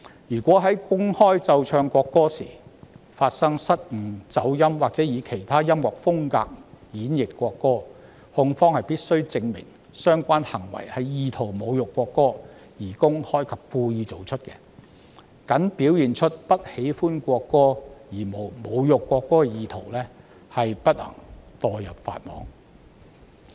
如果在公開奏唱國歌時發生失誤、走音或以其他音樂風格演繹國歌，控方必須證明相關行為意圖侮辱國歌，而且是公開及故意作出，僅表現出不喜歡國歌而無侮辱國歌意圖不會墮入法網。